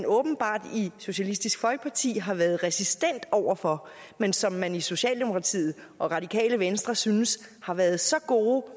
åbenbart i socialistisk folkeparti har været resistente over for men som man i socialdemokratiet og radikale venstre synes har været så gode